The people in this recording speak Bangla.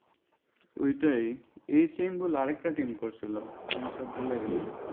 ওইটাই এই same গুলা আরেকটা team করছিল কোনটা ভুলে গেলাম।